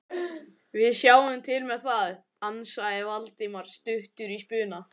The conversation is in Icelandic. Við sjáum til með það- ansaði Valdimar stuttur í spuna.